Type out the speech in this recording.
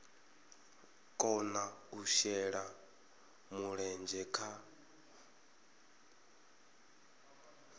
kona u shela mulenzhe kha